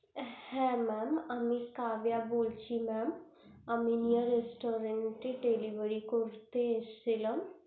হ্যা mam আমি কাব্বিয়া বলছিলাম আমি restaurant এর delivery করতে এসছিলাম